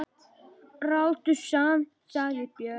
Ráddu samt, sagði Björn.